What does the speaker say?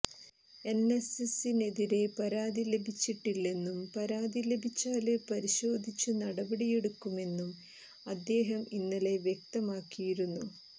എന്എസ്എസിനെതിരെ പരാതി ലഭിച്ചിട്ടില്ലെന്നും പരാതി ലഭിച്ചാല് പരിശോധിച്ച് നടപടിയെടുക്കുമെന്നും അദ്ദേഹം ഇന്നലെ വ്യക്തമാക്കിയിരുന്നു